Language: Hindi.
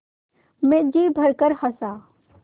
मैं जी भरकर हँसा